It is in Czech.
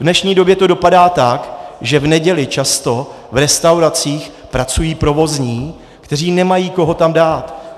V dnešní době to dopadá tak, že v neděli často v restauracích pracují provozní, kteří nemají koho tam dát.